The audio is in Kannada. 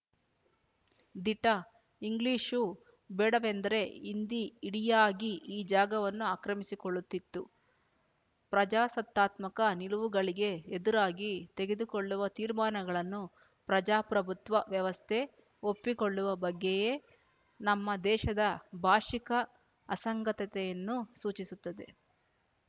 ದಿಟ ಇಂಗ್ಲಿಶು ಬೇಡವೆಂದರೆ ಹಿಂದಿ ಇಡಿಯಾಗಿ ಈ ಜಾಗವನ್ನು ಆಕ್ರಮಿಸಿಕೊಳ್ಳುತ್ತಿತ್ತು ಪ್ರಜಾಸತ್ತಾತ್ಮಕ ನಿಲುವುಗಳಿಗೆ ಎದುರಾಗಿ ತೆಗೆದುಕೊಳ್ಳುವ ತೀರ್ಮಾನಗಳನ್ನು ಪ್ರಜಾಪ್ರಭುತ್ವ ವ್ಯವಸ್ಥೆ ಒಪ್ಪಿಕೊಳ್ಳುವ ಬಗ್ಗೆಯೇ ನಮ್ಮ ದೇಶದ ಭಾಶಿಕ ಅಸಂಗತತೆಯನ್ನು ಸೂಚಿಸುತ್ತದೆ